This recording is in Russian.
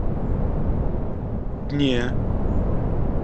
дне